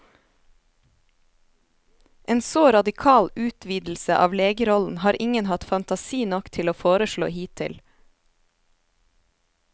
En så radikal utvidelse av legerollen har ingen hatt fantasi nok til å foreslå hittil.